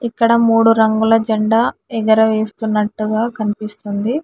ఇక్కడ మూడు రంగుల జెండా ఎగరవేస్తున్నట్టుగా కనిపిస్తుంది.